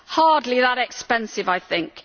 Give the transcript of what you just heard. Hardly that expensive, I think.